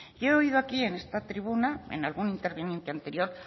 y he oído aquí en esta tribuna en algún interviniente anterior